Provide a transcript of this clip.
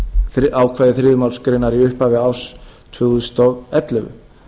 eigi ákvæði þriðju málsgrein í upphafi árs tvö þúsund og ellefu